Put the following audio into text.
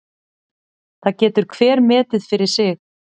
Það getur hver metið fyrir sig.